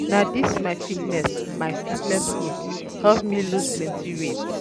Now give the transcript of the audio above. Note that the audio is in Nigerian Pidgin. Na dis my um fitness my um fitness group help me loose plenty weight.